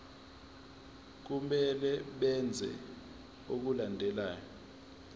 kumele benze okulandelayo